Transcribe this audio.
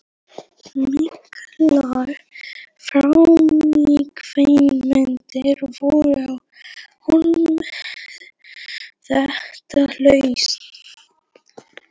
Miklar framkvæmdir voru á Hólum þetta haust.